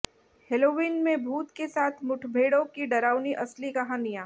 Halloween में भूत के साथ मुठभेड़ों की डरावनी असली कहानियां